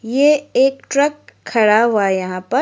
ये एक ट्रक खड़ा हुआ है यहां पर।